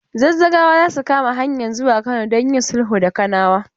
Zazzagawa za su kama hanyan zuwa Kano don yin sulhu da Kanawa.